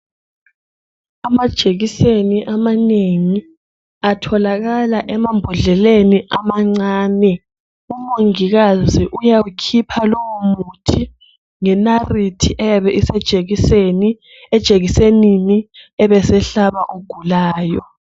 Amajekiseni amanengi atholakala emambodleleni amancane. Umongikazi uyawukhipha lowo muthi ngenarithi eyabe isejekisenini ebesehlaba ogulayo.